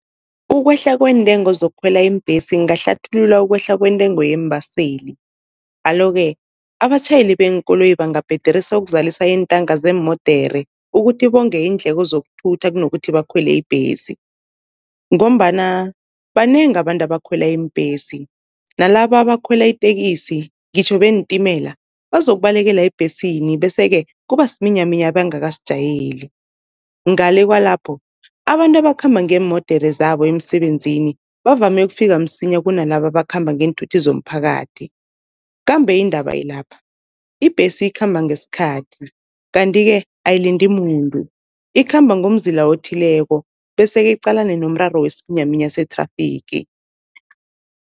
Ukwehla kweentengo zokukhwela iimbhesi kungahlathulula ukwehla kwentengo yeembaseli. Alo-ke abatjhayeli beenkoloyi bangabhaderisa ukuzalisa iintanka zeemodere ukuthi bonge iindleko zokuthutha kunokuthi bakhwele ibhesi. Ngombana banengi abantu abakhwela iimbhesi nalaba abakhwela iteksi, ngitjho beentimela bazokubalekela ebhesini, bese-ke kuba siminyaminya abangakasijayeli. Ngale kwalapho abantu abakhamba ngeemodere zabo emsebenzini bavame ukufika msinya kunalaba abakhamba ngeenthuthi zomphakathi. Kambe indaba ilapha, ibhesi ikhamba ngesikhathi kanti-ke ayilindi muntu ikhamba ngomzila othileko, bese-ke iqalane nomraro wesiminyaminya sethrafigi.